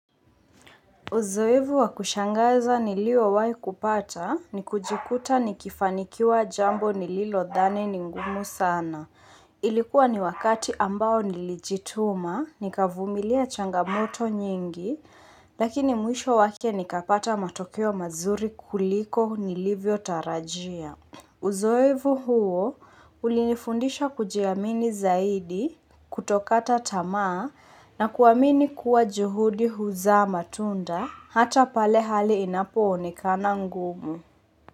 Uzoevu wa kushangaza nilio wai kupata ni kujikuta ni kifanikiwa jambo nililo dhani ningumu sana. Ilikuwa ni wakati ambao nilijituma, nikavumilia changamoto nyingi, lakini mwisho wake nikapata matokeo mazuri kuliko nilivyo tarajia. Uzoevu huo ulinifundisha kujiamini zaidi kutokata tama na kuwamini kuwa juhudi huza matunda hata pale hali inapoone kana ngumu.